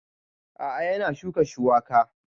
A'a yana shuka shuwaka